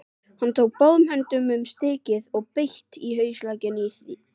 Hann tók báðum höndum um stykkið og beit hraustlega í.